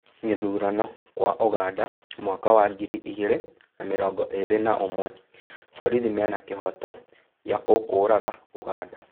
Gĩthurano kwa ũganda mwaka wa ngiri igĩrĩ na mĩrongo ĩrĩ na ũmwe: ' borithi mena kĩhooto gĩa gũkũũraga' ũganda.